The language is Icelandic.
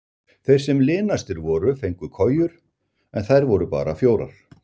Þeir sem linastir voru fengu kojur en þær voru bara fjórar.